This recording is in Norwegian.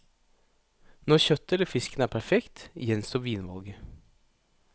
Når kjøttet eller fisken er perfekt, gjenstår vinvalget.